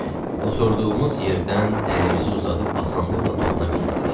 oturduğumuz yerdən əlimizi uzadıb asanlıqla toxuna bilirdik.